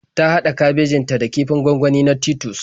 Ta haɗa kabejin ta da kifin gwangwani na Titus